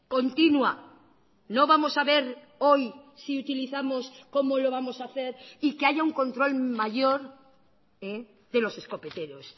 continua no vamos a ver hoy si utilizamos cómo lo vamos a hacer y que haya un control mayor de los escopeteros